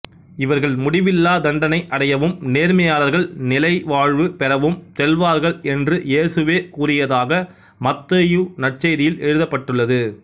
இவர்கள் முடிவில்லாத் தண்டனை அடையவும் நேர்மையாளர்கள் நிலை வாழ்வு பெறவும் செல்வார்கள் என்று இயேசுவே கூறியதாக மத்தேயு நற்செய்தியில் எழுதப்பட்டுள்ளது